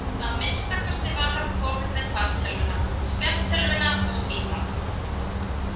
Að minnsta kosti var hann kominn með fartölvuna, spjaldtölvuna og símann.